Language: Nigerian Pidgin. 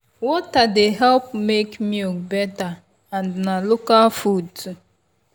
water dey help make milk better and na local food too.